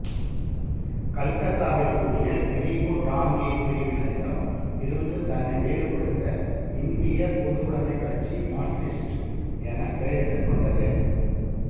கல்கத்தாவில் கூடிய பிரிவு டாங்கே பிரிவினரிடம் இருந்து தன்னை வேறுபடுத்த இந்தியப் பொதுவுடைமைக் கட்சி மார்க்சிஸ்ட் என பெயரிட்டுக் கொண்டது